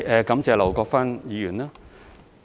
感謝劉國勳議員。